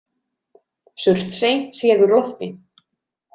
Surtsey séð úr lofti.